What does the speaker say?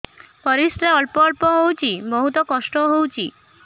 ପରିଶ୍ରା ଅଳ୍ପ ଅଳ୍ପ ହଉଚି ବହୁତ କଷ୍ଟ ହଉଚି